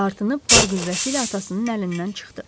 Dartınıb var qüvvəsi ilə atasının əlindən çıxdı.